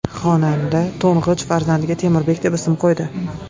Xonanda to‘ng‘ich farzandiga Temurbek deb ism qo‘ydi.